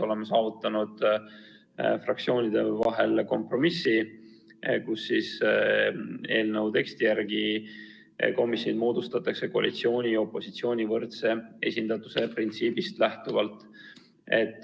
Oleme fraktsioonide vahel saavutanud kompromissi, et eelnõu teksti järgi moodustatakse komisjonid koalitsiooni ja opositsiooni võrdse esindatuse printsiibist lähtuvalt.